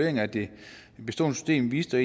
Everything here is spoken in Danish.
af det bestående system viste